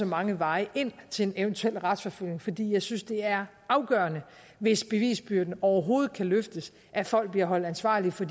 mange veje ind til en eventuel retsforfølgning fordi jeg synes det er afgørende hvis bevisbyrden overhovedet kan løftes at folk bliver holdt ansvarlige for